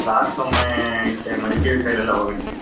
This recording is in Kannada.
Last ಒಮ್ಮೆ, ಈಚೆ ಮಡಿಕೇರಿ side ಎಲ್ಲ ಹೋಗಿದ್ವಿ.